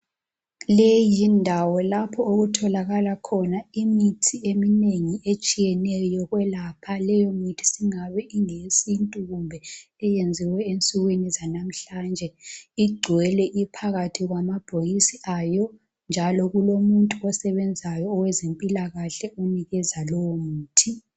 Leyi yindawo lapho okutholakala khona imithi eminengi etshiyeneyo yokwelapha leyomithi singabe ingeyesintu kumbe iyenziwe insukwini zanamhlanje igcwele iphakathi kwamabhokisi ayo njalo kulomuntu osebenzayo owezimpilakahle onikeza leyomithi.